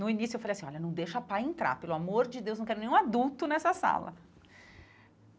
No início, eu falei assim, olha, não deixa pai entrar, pelo amor de Deus, não quero nenhum adulto nessa sala.